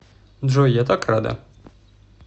джой я так рада